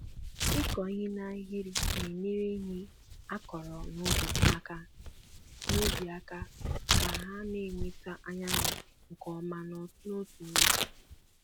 ịkụ ihe na ahịrị na enyere ihe á kọrọ n'ubi aka n'ubi aka ka ha na-enweta anyanwu nke ọma n'otu n'otu